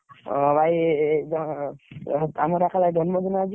ଓ ଭାଇ ଜନ୍ମ ଦିନ ଆଜି।